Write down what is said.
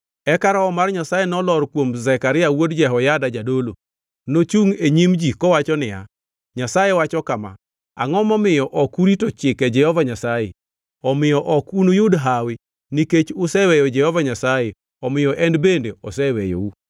Eka Roho mar Nyasaye nolor kuom Zekaria wuod Jehoyada jadolo. Nochungʼ e nyim ji kowacho niya, “Nyasaye wacho kama: ‘Angʼo momiyo ok urito chike Jehova Nyasaye? Omiyo ok unuyud hawi nikech useweyo Jehova Nyasaye omiyo en bende oseweyou.’ ”